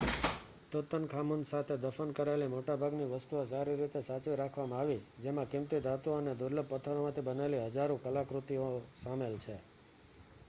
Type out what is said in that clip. Tutankhamun સાથે દફન કરાયેલી મોટાભાગની વસ્તુઓ સારી રીતે સાચવી રાખવામાં આવી જેમાં કિંમતી ધાતુઓ અને દુર્લભ પથ્થરોમાંથી બનેલી હજારો કલાકૃતિઓ સામેલ છે